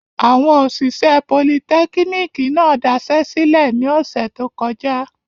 Awọn oṣiṣẹ politẹkiniki náa daṣẹlẹ ni ọsẹ to kọja.